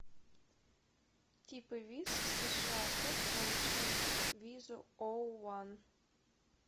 типы виз сша как получить визу оу ван